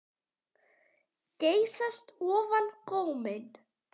Geysast ofan góminn.